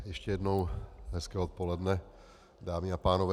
Ještě jednou hezké odpoledne, dámy a pánové.